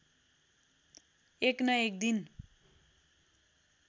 एक न एक दिन